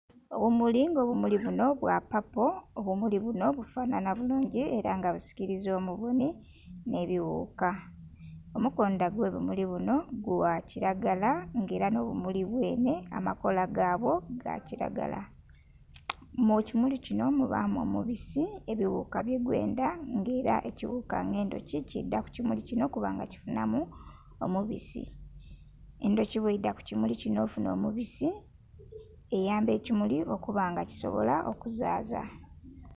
Obumuli nga obumuli bunho bwa paapo obumuli bunho bifananha bulungi era nga bisikiliza omubonhi nhe bighuuka, omukondha gwe bimuli binho gwa kilagala nga era nho bumuli benhe amakoola gabwo ga kilabala. Mu kimuli kinho mubamu omubisi ebighuka bye gwendha nga era ekighuka nga endhoki kidha ku kimuli kinho okubanga kifunhamu omubisi. Endhoki bweidha ku kimuli kinho okufunha omubisi, eyamba ekimuli okuba nga kisobola okuzaaza.